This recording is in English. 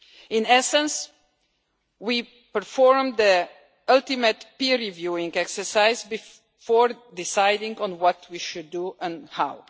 In essence, we performed the ultimate peer reviewing exercise before deciding on what we should do and how.